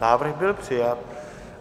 Návrh byl přijat.